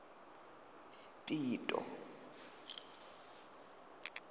pito